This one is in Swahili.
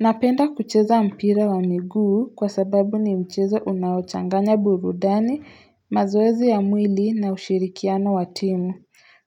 Napenda kucheza mpira wa miguu kwa sababu ni mchezo unaochanganya burudani, mazoezi ya mwili na ushirikiano wa timu.